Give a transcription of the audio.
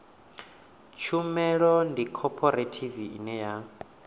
tshumelo ndi khophorethivi ine ya